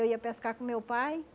Eu ia pescar com meu pai.